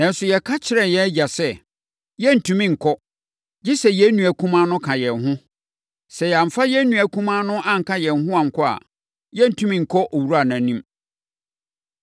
Nanso, yɛka kyerɛɛ yɛn agya sɛ, ‘Yɛrentumi nkɔ, gye sɛ yɛn nua kumaa no ka yɛn ho. Sɛ yɛamfa yɛn nua kumaa no anka yɛn ho ankɔ a, yɛrentumi nkɔ owura no anim.’